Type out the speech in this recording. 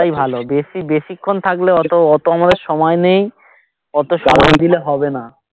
ওটাই ভালো বেশি বেশিক্ষন থাকলে ওতো ওতো আমাদের সময় নেই ওতো সময় দিলে হবে না